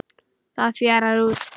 Það fjarar út.